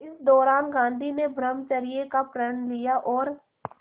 इसी दौरान गांधी ने ब्रह्मचर्य का प्रण लिया और